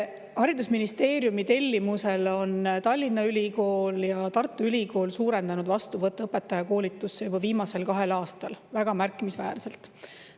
Haridusministeeriumi tellimusel on Tallinna Ülikool ja Tartu Ülikool suurendanud vastuvõttu õpetajakoolitusse juba viimasel kahel aastal väga märkimisväärselt.